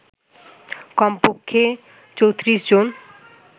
কমপক্ষে ৩৪ জন